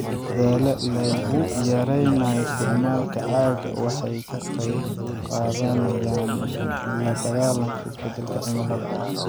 Dadaallada lagu yareynayo isticmaalka caaga waxay ka qaybqaadanayaan la dagaalanka isbeddelka cimilada.